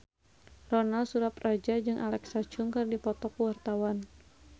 Ronal Surapradja jeung Alexa Chung keur dipoto ku wartawan